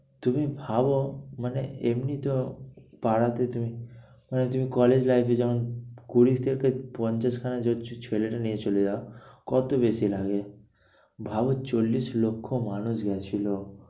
তুমি ভাবো মানে এমনি তো পাড়াতে তুমি মানে তুমি college life এ যেমন কুড়ি থেকে পঞ্চাশ খানা ছেলে নিয়ে চলে যাও। কত বেশি লাগে ভাবো চল্লিশ লক্ষ মানুষ গিয়েছিলো